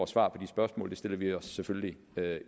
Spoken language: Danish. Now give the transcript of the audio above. svar på de spørgsmål det stiller vi os selvfølgelig